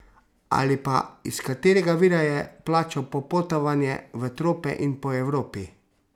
Ali pa, iz katerega vira je plačal popotovanja v trope in po Evropi?